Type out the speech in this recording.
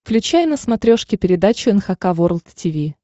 включай на смотрешке передачу эн эйч кей волд ти ви